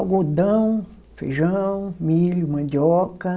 Algodão, feijão, milho, mandioca.